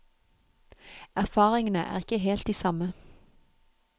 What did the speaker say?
Erfaringene er ikke helt de samme.